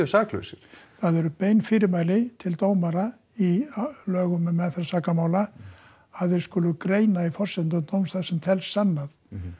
saklausir það eru bein fyrirmæli til dómara í lögum um meðferð sakamála að þeir skulu greina í forsendum dómsins það sem telst sannað